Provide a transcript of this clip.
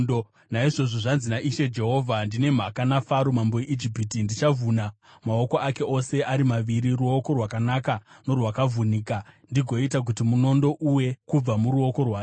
Naizvozvo zvanzi naIshe Jehovha: Ndine mhaka naFaro mambo weIjipiti. Ndichavhuna maoko ake ose ari maviri, ruoko rwakanaka norwakavhunika, ndigoita kuti munondo uwe kubva muruoko rwake.